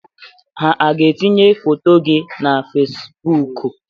Ha aga-etinye foto gị na Fesibuuku?